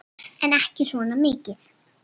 En ekki svona mikið.